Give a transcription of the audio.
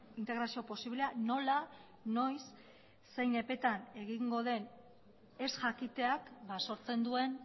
integrazio posiblea nola noiz zein epetan egingo den ez jakiteak sortzen duen